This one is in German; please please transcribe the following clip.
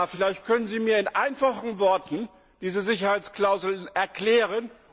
Herr Kommissar, vielleicht können Sie mir in einfachen Worten die Sicherheitsklauseln erklären.